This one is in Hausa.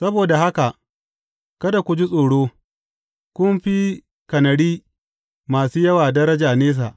Saboda haka kada ku ji tsoro; kun fi kanari masu yawa, daraja nesa.